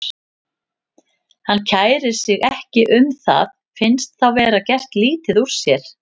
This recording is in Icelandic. Hann kærir sig ekki um það, finnst þá vera gert lítið úr sér.